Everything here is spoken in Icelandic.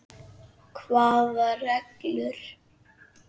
Hvaða reglur?